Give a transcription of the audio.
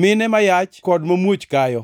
mine ma yach kod mamuoch kayo.